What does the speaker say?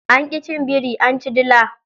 Anki cin biri anci dila.